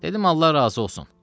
Dedim Allah razı olsun.